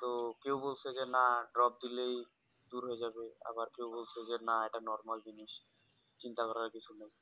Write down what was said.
তো কেউ বলছে যে না Drop দিলেই দূর হয়ে যাবে আবার কেউ বলছে যে না ওটা Normal জিনিস চিন্তা করার কিছু নেই